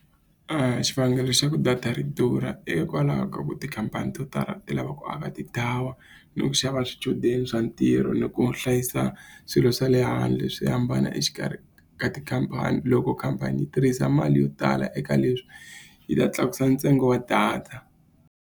Xivangelo xa ku data ri durha hikwalaho ka ku tikhampani to tala ti lava ku aka ti-tower, ni ku xava swichudeni swa ntirho, ni ku hlayisa swilo swa le handle swi hambana exikarhi ka tikhampani. Loko khampani yi tirhisa mali yo tala eka leswi yi ta tlakusa ntsengo wa data.